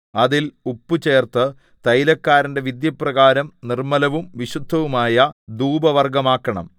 അതിൽ ഉപ്പ് ചേർത്ത് തൈലക്കാരന്റെ വിദ്യപ്രകാരം നിർമ്മലവും വിശുദ്ധവുമായ ധൂപവർഗ്ഗമാക്കണം